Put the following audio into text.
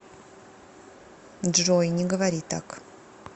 джой не говори так